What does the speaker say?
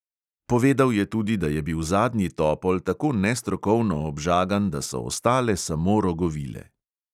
Povedal je tudi, da je bil zadnji topol tako nestrokovno obžagan, da so ostale samo rogovile.